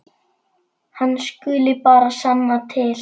Hann skuli bara sanna til.